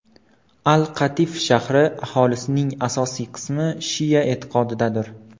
Al-Qatif shahri aholisining asosiy qismi shia e’tiqodidadir.